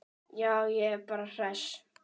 Já, ég er bara hress.